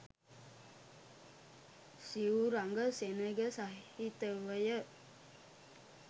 සිවුරඟ සෙනග සහිතවය.